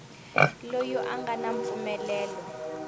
loyi a nga na mpfumelelo